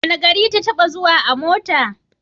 Wane gari ta taɓa zuwa a mota?